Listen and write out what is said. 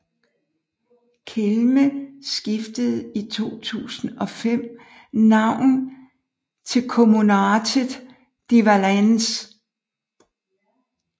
Kelme skiftede i 2005 navn til Communautè de valence